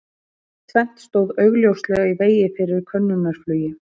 Tvennt stóð augljóslega í vegi fyrir könnunarflugi